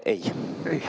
Ei.